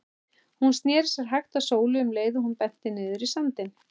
Hún sneri sér hægt að Sólu um leið og hún benti niður í sandinn.